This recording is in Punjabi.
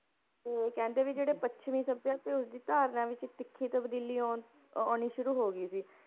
ਤੇ ਕਹਿੰਦੇ ਵੀ ਜਿਹੜੇ ਪੱਛਮੀ ਸਭਿਆ ਤੇ ਉਸਦੀ ਧਾਰਨਾ ਵਿੱਚ ਤਿੱਖੀ ਤਬਦੀਲੀ ਆਉਣ ਆਉਣੀ ਸ਼ੁਰੂ ਹੋ ਗਈ ਸੀ।